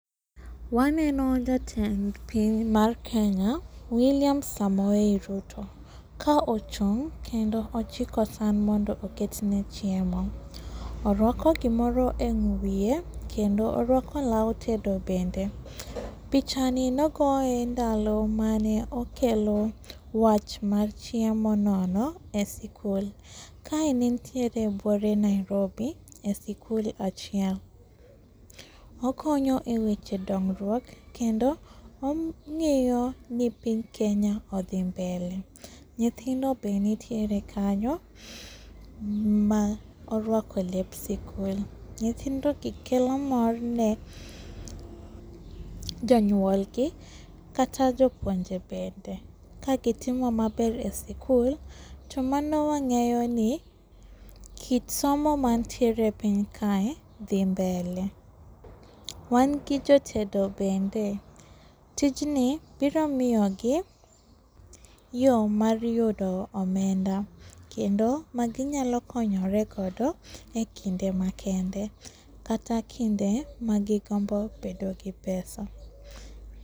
Waneno jatend piny mar Kenya William Samoei Ruto ka ochung' kendo ochiko san mondo oketne chiemo. Oruako gimoro e wie kendo oruako lao tedo bende. Pichani nogoye ndalo mane okelo wach mar chiemo nono e sikul, kae ne entiere buore Nairobi e sikul achiel. Okonyo e weche dongruok kendo omiyo nyinthind Kenya odhi mbele. Nyithindo be nitiere kanyo maoruako lep sikul, nyithindogi kelo mor ne jonyuolgi kata jopuonje bende kagitimo maber e sikul tomano wang'eyoni kit somo mantiere e piny kae dhi mbele. Wan gi jotedo bende, tijni biro miyogi yo mar yudo omenda, kendo maginyalo konyore godo e kinde makende kata kinde magigombo bedo gi pesa.